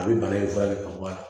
A bɛ bana in furakɛ ka bɔ a la